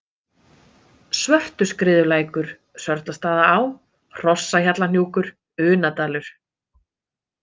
Svörtuskriðulækur, Sörlastaðaá, Hrossahjallahnjúkur, Unadalur